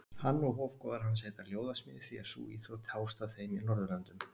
Hann og hofgoðar hans heita ljóðasmiðir því að sú íþrótt hófst af þeim í Norðurlöndum.